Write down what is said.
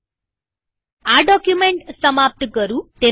હું આ ડોક્યુમેન્ટ સમાપ્ત કરું છું